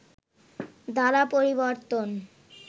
দ্বারা পরিবর্তন